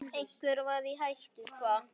Einhver var í hættu.